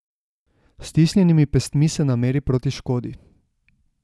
S stisnjenimi pestmi se nameri proti škodi.